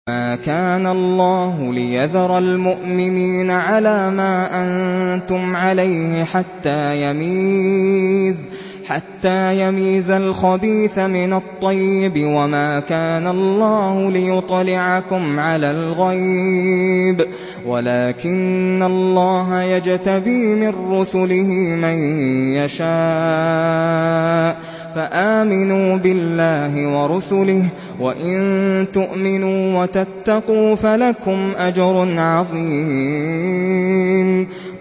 مَّا كَانَ اللَّهُ لِيَذَرَ الْمُؤْمِنِينَ عَلَىٰ مَا أَنتُمْ عَلَيْهِ حَتَّىٰ يَمِيزَ الْخَبِيثَ مِنَ الطَّيِّبِ ۗ وَمَا كَانَ اللَّهُ لِيُطْلِعَكُمْ عَلَى الْغَيْبِ وَلَٰكِنَّ اللَّهَ يَجْتَبِي مِن رُّسُلِهِ مَن يَشَاءُ ۖ فَآمِنُوا بِاللَّهِ وَرُسُلِهِ ۚ وَإِن تُؤْمِنُوا وَتَتَّقُوا فَلَكُمْ أَجْرٌ عَظِيمٌ